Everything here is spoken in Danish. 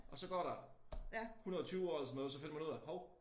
Og så går der 120 år eller sådan noget så finder man ud af hov